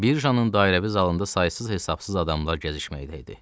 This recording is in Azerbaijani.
Bircanın dairəvi zalında saysız-hesabsız adamlar gəzişməkdə idi.